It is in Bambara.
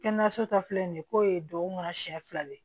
Kɛnɛyaso ta filɛ nin ye k'o ye duwawu kɔnɔ siɲɛ fila de